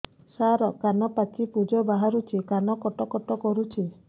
ସାର କାନ ପାଚି ପୂଜ ବାହାରୁଛି କାନ କଟ କଟ କରୁଛି